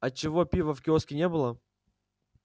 а чего пива в киоске не было